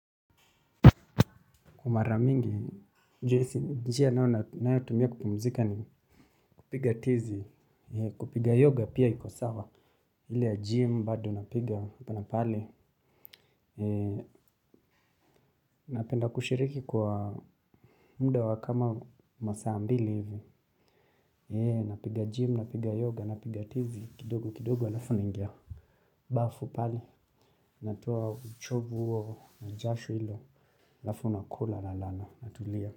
Mara mingi, njia ninayo tumia kupumzika ni kupiga tizi, kupiga yoga pia iko sawa, ile ya gym, bado napiga apa na pale, napenda kushiriki kwa muda wa kama masaa mbili hivi, napiga gym, napiga yoga, napiga tizi, kidogo kidogo alafu naingia. Bafu pale, natoa uchovu huo na jasho ile, halafu nakula nalala, natulia.